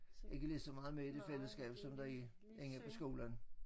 Ikke lige så meget med i det fællesskab som der er inde på skolen